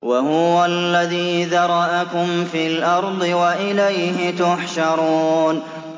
وَهُوَ الَّذِي ذَرَأَكُمْ فِي الْأَرْضِ وَإِلَيْهِ تُحْشَرُونَ